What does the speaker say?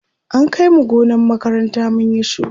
an Kai mu gonar makaranta mun Yi shuka